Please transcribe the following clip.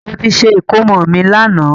Mo ti ṣe ìkómọ mi lànà